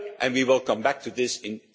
We will come back to this in